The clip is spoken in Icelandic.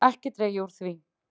Ekki dreg ég úr því.